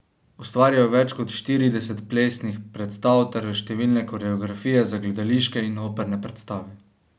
Ustvaril je več kot štirideset plesnih predstav ter številne koreografije za gledališke in operne predstave.